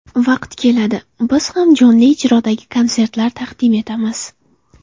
Vaqti keladi, biz ham jonli ijrodagi konsertlar taqdim etamiz.